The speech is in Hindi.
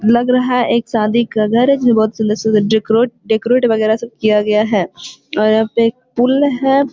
लग रहा है एक शादी का घर है। जिसमें बहुत सुंदर-सुंदर डिकोरेत डेकोरेट वगैरह सब किया गया है और यहां पे एक पूल है।